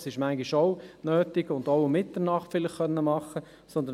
Dies ist zwar manchmal auch notwendig, vielleicht auch um Mitternacht.